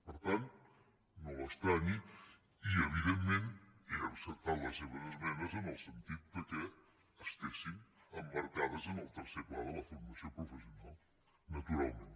per tant no s’estranyi i evidentment he acceptat les seves esmenes en el sentit que estiguessin emmarcades en el tercer pla de la for·mació professional naturalment